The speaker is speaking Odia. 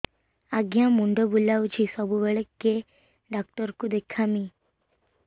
ଆଜ୍ଞା ମୁଣ୍ଡ ବୁଲାଉଛି ସବୁବେଳେ କେ ଡାକ୍ତର କୁ ଦେଖାମି